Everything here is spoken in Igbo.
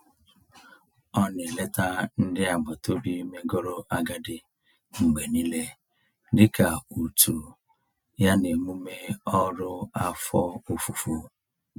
Ọ na-eleta ndị agbataobi megoro agadi mgbe niile dị ka utu ya n'emume ọrụ afọ ofufo.